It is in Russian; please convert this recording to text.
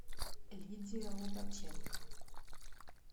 лидия лобаченко